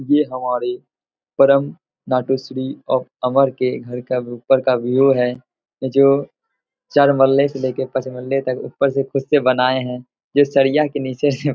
ये हमारी परम नाटो श्री ऑफ अमर के घर का ऊपर का व्यू है जो चार मल्ले से लेके पाँच मल्ले तक ऊपर से खुद से बनाए हैं। ये सरिया के नीचे --